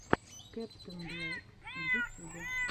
кэптэнблэк в ютюбе